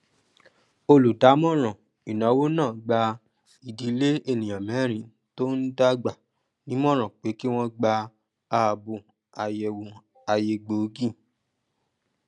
olùdámọràn ináwó náà gba idílé ènìyàn mẹrin tó ń dàgbà ní ìmòràn pé kí wọn gba àbò àyẹwò àyè gboogi